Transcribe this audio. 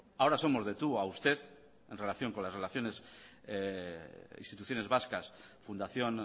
ahora somos de tú a usted en relación con las relaciones instituciones vascas fundación